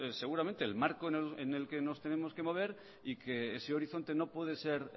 seguramente el marco en el que nos tenemos que mover y que ese horizonte no puede ser